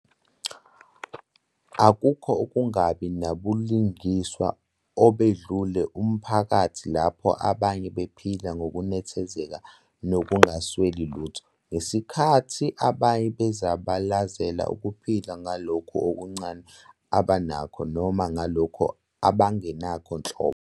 Akukho ukungabi nabulungiswa obedlula umphakathi lapho abanye baphila ngokunethezeka nokungasweli lutho, ngesikhathi abanye bezabalazela ukuphila ngalokhu okuncane abanakho noma ngalokhu abangenakho nhlobo.